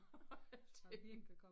Og alting